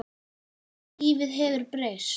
Lífið hefur breyst.